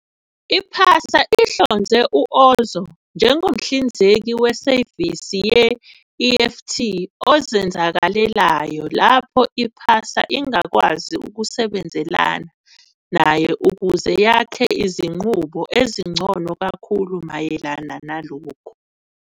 I-PASA ihlonze u-Ozow njengomhlinzeki wesevisi we-EFT ozenzakalelayo lapho i-PASA ingakwazi ukusebenzelana naye ukuze yakhe izinqubo ezingcono kakhulu mayelana nalokhu.